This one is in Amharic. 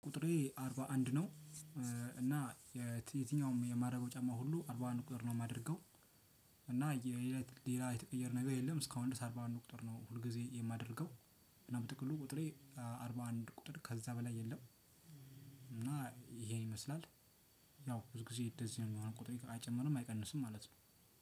ቁጥሬ አርባአንድ ነው። እና የትኛውም የማረገው ጫማ ሁሉ አርባአንድ ቁጥር ነው የማደርገው። እና ሌላ የተቀየረ ነገር የለም። እስካሁን ድረስ አርባአንድ ቁጥር ነው ሁል ጊዜ የማደርገው። እና በጥቅሉ ቁጥሬ አርባአንድ ቁጥር ከዛ በላይ የለም። እና ይሄ ይመስላል ያው ብዙ ጊዜ እንደዚህ ነው አይጨምርም አይቀንስም ማለት ነው።